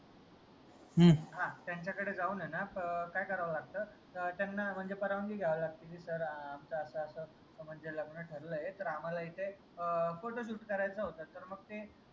हां त्यांच्याकडे जाऊन ए न काय करावं लागत अं त्यांना म्हनजे परवानगी घ्यावी लागते की sir आमचं अस अस म्हनजे लग्न ठरलय तर आम्हाला इथे अं photo shoot करायचं होत तर मग ते